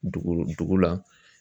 Dugu dugu la